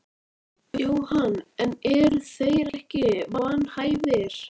Kristjana: Svona í framhaldinu, hver væri þín ráðlegging til málsaðila?